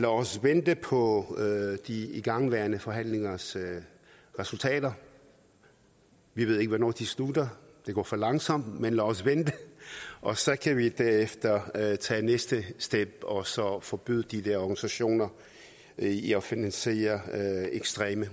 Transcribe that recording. os vente på de igangværende forhandlingers resultater vi ved ikke hvornår de slutter det går for langsomt men lad os vente og så kan vi derefter tage tage næste step og så forbyde de der organisationer i at finansiere ekstreme